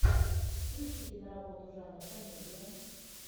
включи киноработу жанр комедия